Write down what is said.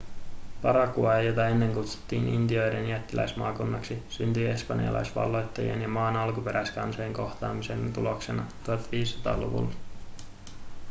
paraguay jota ennen kutsuttiin intioiden jättiläismaakunnaksi syntyi espanjalaisvalloittajien ja maan alkuperäiskansojen kohtaamisen tuloksena 1500-luvulla